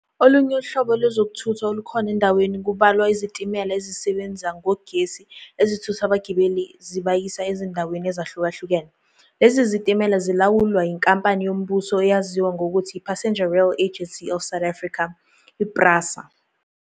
Ulunye uhlobo lwezokuthutha olukhona endaweni kubalwa izitimela ezisebenza ngogesi ezithutha abagibeli zibayisa ezindawini ezahlukahlukene. Lezi zitimela zilawulwa yinkampani yombuso eyaziwa ngokuthi "Passenger Rail Agency of South Afrika, PRASA".